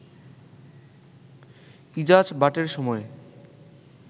ইজাজ বাটের সময়ে